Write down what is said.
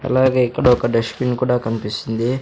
అలాగే ఇక్కడ ఒక డస్ట్ బిన్ కూడా కన్పిస్తుంది.